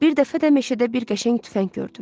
Bir dəfə də meşədə bir qəşəng tüfəng gördüm.